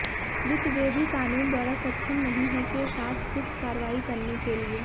वित्त वे भी कानून द्वारा सक्षम नहीं हैं के साथ कुछ कार्रवाई करने के लिए